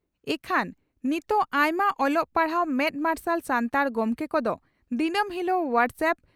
ᱤᱠᱷᱟᱹᱱ ᱱᱤᱛᱚᱜ ᱟᱭᱢᱟ ᱚᱞᱚᱜ ᱯᱟᱲᱦᱟᱣ ᱢᱮᱫ ᱢᱟᱨᱥᱟᱞ ᱥᱟᱱᱛᱟᱲ ᱜᱚᱢᱠᱮ ᱠᱚᱫᱚ ᱫᱤᱱᱟᱹᱢ ᱦᱤᱞᱚᱜ ᱦᱚᱣᱟᱴᱥ ᱟᱯ